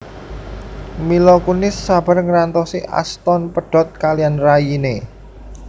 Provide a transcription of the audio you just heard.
Mila Kunis sabar ngrantosi Ashton pedhot kaliyan rayine